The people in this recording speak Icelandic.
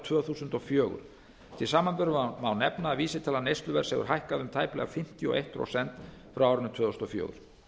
tvö þúsund og fjögur til samanburðar má nefna að vísitala neysluverðs hefur hækkað um tæplega fimmtíu og eitt prósent frá árinu tvö þúsund og fjögur